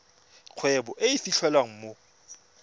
kgwebo e e fitlhelwang mo